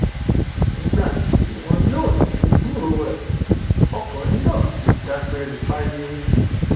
nígbà tí wọn yóò sì fi gbúròó rẹ ọkùnrin náà ti dágbére fáyé